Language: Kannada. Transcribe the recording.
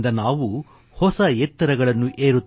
unity is progress unity is empowerment